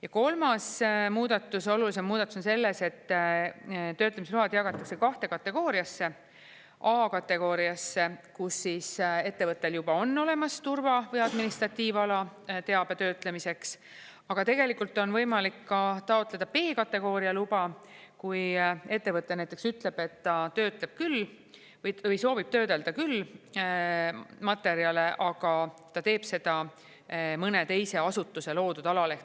Ja kolmas olulisem muudatus on selles, et töötlemisload jagatakse kahte kategooriasse: A- kategooriasse, kus ettevõttel on olemas turva- või administratiivala teabe töötlemiseks, aga tegelikult on võimalik ka taotleda B-kategooria luba, kui ettevõte näiteks ütleb, et ta töötleb küll või soovib töödelda küll materjale, aga ta teeb seda mõne teise asutuse loodud alal.